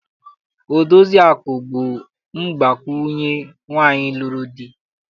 Odoziakụ bụ mgbakwunye nwaanyị lụrụ di.